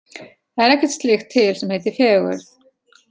Það er ekkert slíkt til sem heitir fegurð.